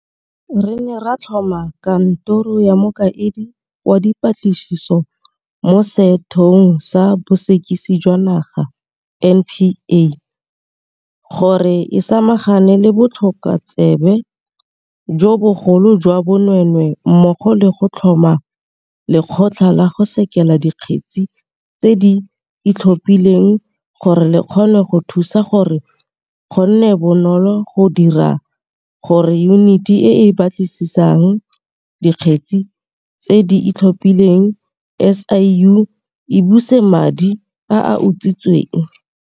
Re ne ra tlhoma Kantoro ya Mokaedi wa Dipatlisiso mo Sethe ong sa Bosekisi jwa Naga, NPA, gore e samagane le botlhokotsebe jo bogolo jwa bonweenwee mmogo le go tlhoma Lekgotla la go Sekela Dikgetse tse di Itlhophileng gore le kgone go thusa gore go nne bonolo go dira gore Yuniti e e Batlisisang Dikgetse tse di Itlhophileng, SIU, e buse madi a a utswitsweng.